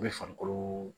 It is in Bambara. U bɛ farikolo